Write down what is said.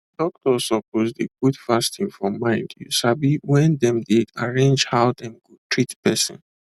doctors suppose dey put fasting for mind you sabi when dem dey arrange how dem go treat person